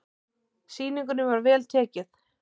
Sýningunni var vel tekið.